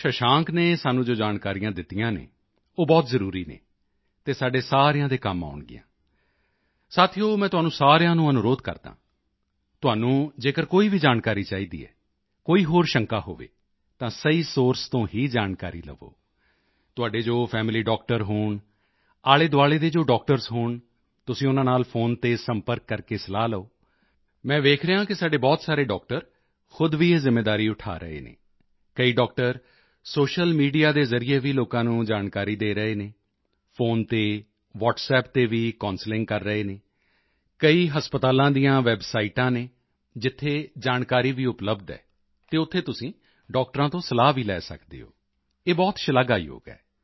ਸ਼ਸ਼ਾਂਕ ਨੇ ਸਾਨੂੰ ਜੋ ਜਾਣਕਾਰੀਆਂ ਦਿੱਤੀਆਂ ਹਨ ਉਹ ਬਹੁਤ ਜ਼ਰੂਰੀ ਹਨ ਅਤੇ ਸਾਡੇ ਸਾਰਿਆਂ ਦੇ ਕੰਮ ਆਉਣਗੀਆਂ ਸਾਥੀਓ ਮੈਂ ਤੁਹਾਨੂੰ ਸਾਰਿਆਂ ਨੂੰ ਅਨੁਰੋਧ ਕਰਦਾ ਹਾਂ ਤੁਹਾਨੂੰ ਜੇਕਰ ਕੋਈ ਵੀ ਜਾਣਕਾਰੀ ਚਾਹੀਦੀ ਹੈ ਕੋਈ ਹੋਰ ਸ਼ੰਕਾ ਹੋਵੇ ਤਾਂ ਸਹੀ ਸੋਰਸ ਤੋਂ ਹੀ ਜਾਣਕਾਰੀ ਲਓ ਤੁਹਾਡੇ ਜੋ ਫੈਮਿਲੀ ਡਾਕਟਰ ਹੋਣ ਆਲ਼ੇਦੁਆਲ਼ੇ ਦੇ ਜੋ ਡਾਕਟਰਜ਼ ਹੋਣ ਤੁਸੀਂ ਉਨ੍ਹਾਂ ਨਾਲ ਫ਼ੋਨ ਤੇ ਸੰਪਰਕ ਕਰਕੇ ਸਲਾਹ ਲਓ ਮੈਂ ਦੇਖ ਰਿਹਾ ਹਾਂ ਕਿ ਸਾਡੇ ਬਹੁਤ ਸਾਰੇ ਡਾਕਟਰ ਖੁਦ ਵੀ ਇਹ ਜ਼ਿੰਮੇਵਾਰੀ ਉਠਾ ਰਹੇ ਹਨ ਕਈ ਡਾਕਟਰ ਸੋਸ਼ੀਅਲ ਮੀਡੀਆ ਦੇ ਜ਼ਰੀਏ ਵੀ ਲੋਕਾਂ ਨੂੰ ਜਾਣਕਾਰੀ ਦੇ ਰਹੇ ਹਨ ਫ਼ੋਨ ਤੇ ਵ੍ਹਾਟਸਐਪ ਤੇ ਵੀ ਕਾਉਂਸਲਿੰਗ ਕਰ ਰਹੇ ਹਨ ਕਈ ਹਸਪਤਾਲਾਂ ਦੀਆਂ ਵੈੱਬਸਾਈਟਾਂ ਹਨ ਜਿੱਥੇ ਜਾਣਕਾਰੀ ਵੀ ਉਪਲੱਬਧ ਹੈ ਅਤੇ ਉੱਥੇ ਤੁਸੀਂ ਡਾਕਟਰਾਂ ਤੋਂ ਸਲਾਹ ਵੀ ਲੈ ਸਕਦੇ ਹੋ ਇਹ ਬਹੁਤ ਸ਼ਲਾਘਾਯੋਗ ਹੈ